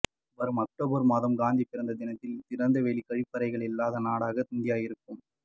வரும் அக்டோபர் மாதம் காந்தி பிறந்த தினத்தில் திறந்தவெளி கழிவறைகள் இல்லாத நாடாக இந்தியா இருக்கும்